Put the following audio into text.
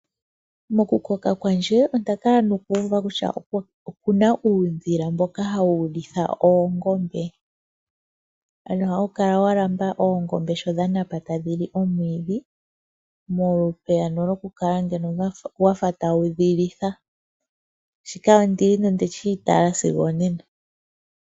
Mokukoka kwandje onda kala noku uva kutya okuna uudhila mboka hawu litha oongombe ano hawu kala wa lamba oongombe sho dhanapa tadhi li oomwidhi, molupe ando wafa tawu dhi litha, shike ondili nondeshi itayela sigo onena.